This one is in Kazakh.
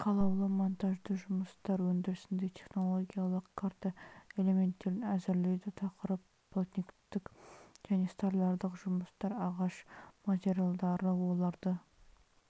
қалаулы монтажды жұмыстар өндірісінде технологиялық карта элементтерін әзірлейді тақырып плотниктік және столярлық жұмыстар ағаш материалдары оларды